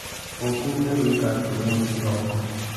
ũkĩrire gwĩka atĩa ũmũthĩ kĩroko?